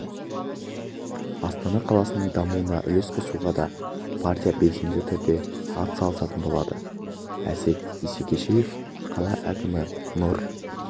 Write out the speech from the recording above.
астана қаласының дамуына үлес қосуға да партия белсенді түрде атсалысатын болады әсет исекешев қала әкімі нұр